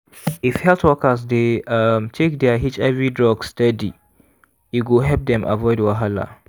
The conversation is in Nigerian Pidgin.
if health workers dey um take their hiv drugs steady e go help dem avoid wahala.